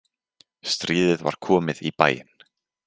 Stríðið var komið í bæinn!